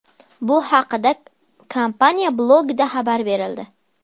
Bu haqda kompaniya blogida xabar berildi .